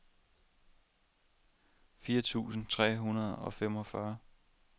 fire tusind tre hundrede og femogfyrre